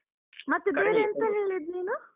ಎಂತ ಹೇಳಿದ್ ನೀನು?